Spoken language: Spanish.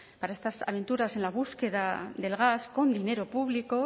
para estas aventuras en la búsqueda del gas con dinero público